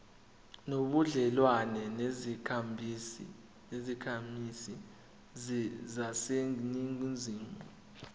nobudlelwane nezakhamizi zaseningizimu